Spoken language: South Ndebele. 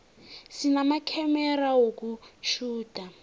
sinamakhamera wokutjhuda